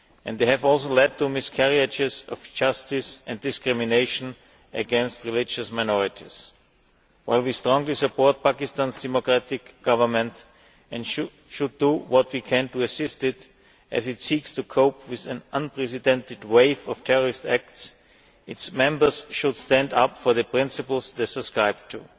They have also led to miscarriages of justice and discrimination against religious minorities. While we strongly support Pakistan's democratic government and will do what we can to assist it as it seeks to cope with an unprecedented wave of terrorist acts, its members should stand up for the principles they subscribe